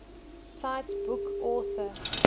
cite book author